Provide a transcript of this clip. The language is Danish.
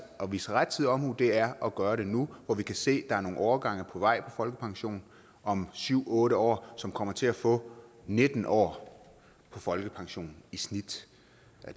at vise rettidig omhu er at gøre det nu hvor vi kan se der er nogle årgange på vej på folkepension om syv otte år som kommer til at få nitten år på folkepension i snit